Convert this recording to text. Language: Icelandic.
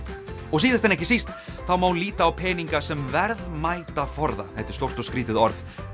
og síðast en ekki síst þá má líta á peninga sem verðmætaforða þetta er stórt og skrítið orð